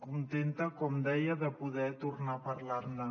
contenta com deia de poder tornar a parlar ne